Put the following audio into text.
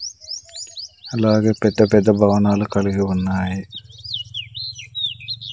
అలాగే పెద్ద పెద్ద భవనాలు కలిగి ఉన్నాయి.